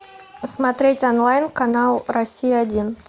смотреть онлайн канал россия один